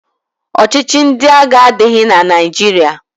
Ọchịchị ndị agha adịghị na Naịjirịa